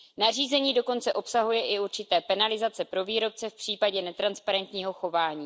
Nařízení dokonce obsahuje i určité penalizace pro výrobce v případě netransparentního chování.